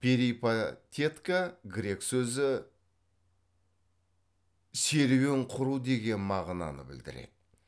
перипатетка грек сөзі серуен құру деген мағынаны білдіреді